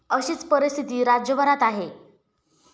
अशीच परिस्थिती राज्यभरात आहे.